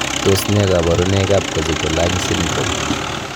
Tos nee koborunoikab Kosztolanyi syndrome?